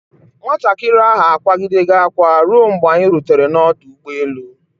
Nwatakịrị ahụ akwaa gidere akwa ruo mgbe anyi rutere n'ọdụ ụgbọ elu.